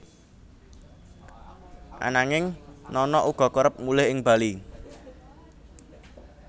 Ananging Nana uga kerep mulih ing Bali